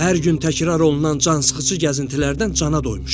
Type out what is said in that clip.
Hər gün təkrar olunan cansıxıcı gəzintilərdən cana doymuşam.